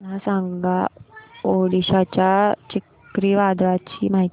मला सांगा ओडिशा च्या चक्रीवादळाची माहिती